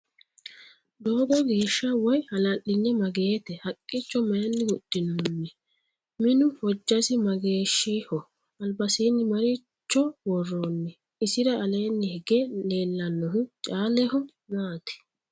Doogo geesha woy hala'linye mageette? Haqichcho mayiinni huxinoonni? Minu hojjassi mageeshshiho? Alibasiinno maricho woroonni? Isira aleenni hige leelannohu caaleho maati?